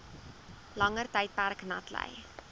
langer tydperk natlei